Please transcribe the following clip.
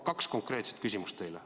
Kaks konkreetset küsimust teile.